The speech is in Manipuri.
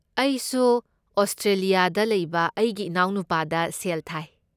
ꯑꯩꯁꯨ ꯑꯣꯁꯇ꯭ꯔꯦꯂꯤꯌꯥꯗ ꯂꯩꯕ ꯑꯩꯒꯤ ꯏꯅꯥꯎꯅꯨꯄꯥꯗ ꯁꯦꯜ ꯊꯥꯏ꯫